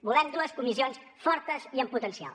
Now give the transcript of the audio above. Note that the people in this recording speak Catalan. volem dues comissions fortes i amb potencial